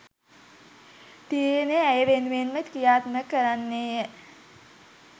තීරණය ඇය වෙනුවෙන්ද ක්‍රියාත්මක කරන්නේය